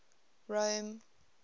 rome